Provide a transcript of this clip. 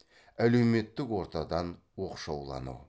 әлеуметтік ортадан оқшаулану